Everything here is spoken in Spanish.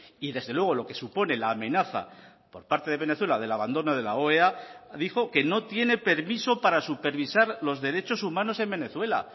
y desde luego lo que supone la amenaza por parte de venezuela del abandono de la oea dijo que no tiene permiso para supervisar los derechos humanos en venezuela